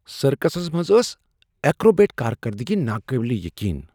سرکسس منٛز ٲس ایکروبیٹ کارکردگی ناقابل یقین ۔